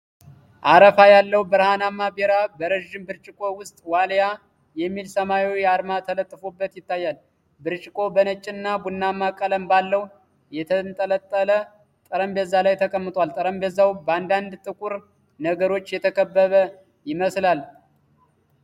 አረፋ ያለው ብርሃናማ ቢራ በረዥም ብርጭቆ ውስጥ ዋልያ (Walia) የሚል ሰማያዊ አርማ ተለጥፎበት ይታያል። ብርጭቆው በነጭና ቡናማ ቀለም ባለው የተለጠጠ ጠረጴዛ ላይ ተቀምጧል። ጠረጴዛው በአንዳንድ ጥቁር ነገሮች የተከበበ ይመስላል።